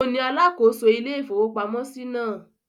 Òun ni alákòóso ilé-ìfowópamọ́sí náà.